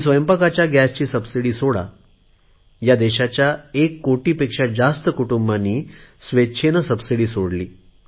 स्वयंपाकांच्या गॅसची सबसिडी सोडा ह्या देशाच्या एक कोटी पेक्षा जास्त कुटुंबांनी स्वेच्छेने सबसिडी सोडली